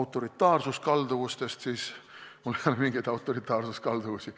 autoritaarsuskalduvustest, siis mul ei ole mingeid autoritaarsuskalduvusi.